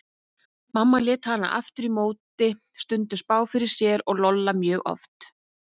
Mamma lét hana aftur á móti stundum spá fyrir sér og Lolla mjög oft.